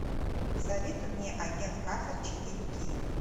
посоветуй мне агент картер четыре кей